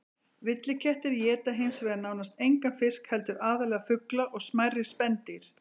Villtir kettir éta hins vegar nánast engan fisk heldur aðallega fugla og smærri spendýr.